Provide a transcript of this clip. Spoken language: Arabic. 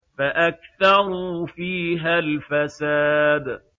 فَأَكْثَرُوا فِيهَا الْفَسَادَ